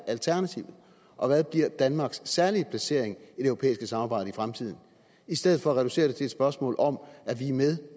og hvad danmarks særlige placering europæiske samarbejde i fremtiden i stedet for at reducere det til et spørgsmål om at vi er med